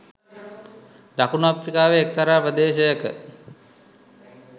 දකුණු අප්‍රිකාවේ එක්තරා ප්‍රදේශයක